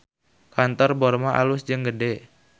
Kantor Borma alus jeung gede